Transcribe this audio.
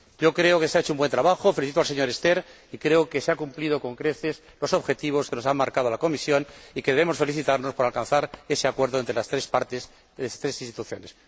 Creo que se ha hecho un buen trabajo. Felicito al señor Sterckx y creo que se han cumplido con creces los objetivos que nos ha marcado la Comisión y que debemos felicitarnos por alcanzar ese acuerdo entre las tres partes, entre las tres instituciones.